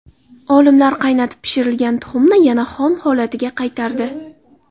Olimlar qaynatib pishirilgan tuxumni yana xom holatiga qaytardi.